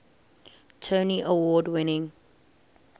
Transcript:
tony award winning